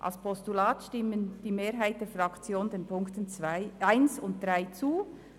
Als Postulat stimmt die Mehrheit der Fraktion den Ziffern 1 und 3 zu.